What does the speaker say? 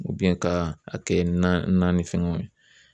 ka a kɛ na ni fɛngɛw ye.